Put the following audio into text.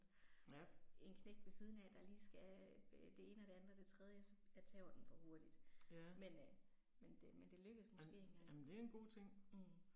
En knægt ved siden af der lige skal øh det ene og det andet og det tredje så, jeg taber den for hurtigt. Men øh men det men det lykkes måske en gang. Mh